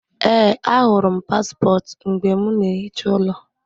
Ee, ahụrụ m paspọtụ mgbe m na-ehicha ụlọ